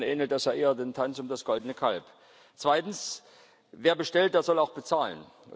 manchmal ähnelt das ja eher dem Tanz um das goldene Kalb. Zweitens Wer bestellt, der soll auch bezahlen.